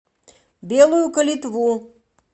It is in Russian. белую калитву